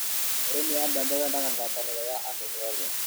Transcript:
ũrĩmi wa mbembe wendaga gwataniro ya andũ othe